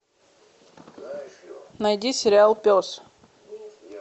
найди сериал пес